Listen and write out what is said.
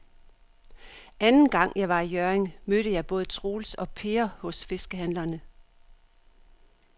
Anden gang jeg var i Hjørring, mødte jeg både Troels og Per hos fiskehandlerne.